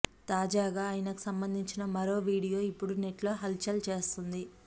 తాజాగా ఆయనకు సంబంధించిన మరో వీడియో ఇప్పుడు నెట్ లో హల్ చల్ చేస్తోంది